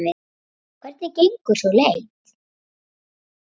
Hvernig gengur sú leit?